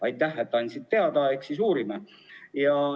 Aitäh, et andsid teada, eks siis uurime!